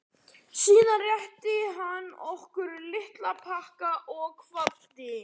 Síðan rétti hann okkur lítinn pakka og kvaddi.